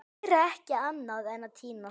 Gera ekki annað en að týnast!